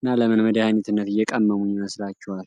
እና ለምን መድኃኒትነት እየቀመሙ ይመስላቸዋል?